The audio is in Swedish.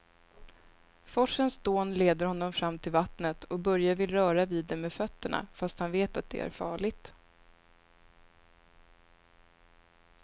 Forsens dån leder honom fram till vattnet och Börje vill röra vid det med fötterna, fast han vet att det är farligt.